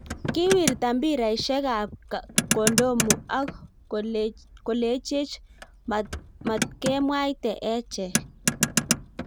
Kiwirta mbiraishek ap kondomu ak kolechech matkemwaite echek